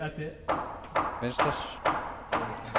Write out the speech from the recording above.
venstres